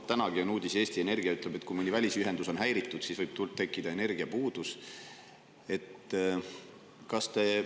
Tänagi on ilmunud uudis, kus Eesti Energia ütleb, et kui mõni välisühendus on häiritud, siis võib tekkida energiapuudus.